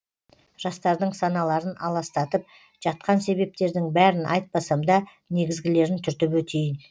жастардың саналарын аластатып жатқан себептердің бәрін айтпасам да негізгілерін түртіп өтейін